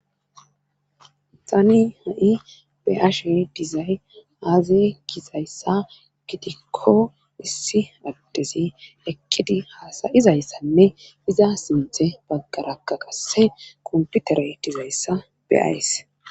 Tani ha'i be'ashe dizay aaze gizayssa gitikko issi addezi ekkidi haasayizayssanne iza sinthe baggarakka qasse komputere dizayssa beays.